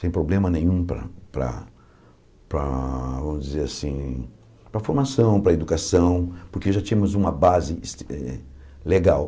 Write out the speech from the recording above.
Sem problema nenhum para para vamos dizer assim para a formação, para a educação, porque já tínhamos uma base es eh legal.